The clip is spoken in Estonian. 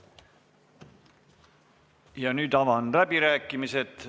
Ja nüüd avan läbirääkimised.